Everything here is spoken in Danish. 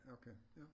Ja okay ja